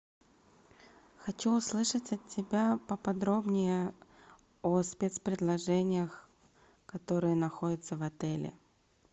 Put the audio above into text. хочу услышать от тебя поподробнее о спец предложениях которые находятся в отеле